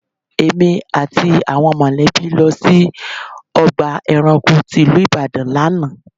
Èmi àti àwọn mọ̀lẹ́bí lọ sí ọgbà ẹranko tí ìlú Ìbàdàn lánàá.